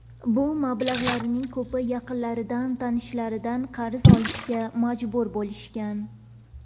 Bu mablag‘larning ko‘pini yaqinlaridan, tanishlaridan qarz olishga majbur bo‘lishgan.